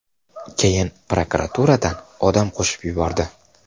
Keyin prokuraturadan odam qo‘shib yubordi.